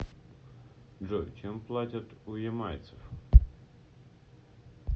джой чем платят у ямайцев